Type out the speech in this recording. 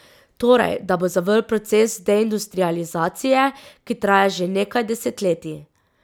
Torej, da bo zavrl proces deindustrializacije, ki traja že nekaj desetletij.